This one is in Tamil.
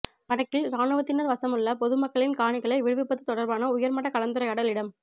வடக்கில் இராணுவத்தினர் வசமுள்ள பொதுமக்களின் காணிகளை விடுவிப்பது தொடர்பான உயர்மட்ட கலந்துரையாடல் இடம்